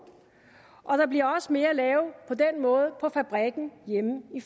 og der bliver også mere at lave på fabrikken hjemme i